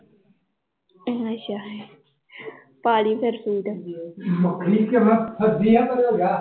ਅੱਛਾ ਪਾ ਲਈ ਫਿਰ ਸੂਟ